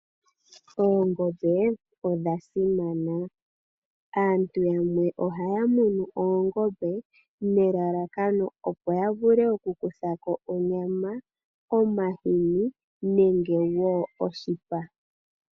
Oongombe odha simana. Aantu yamwe ohaya munu oongombe nelalakano opo yavule okukuthako onyama, omahini nenge woo oshipa.